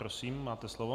Prosím, máte slovo.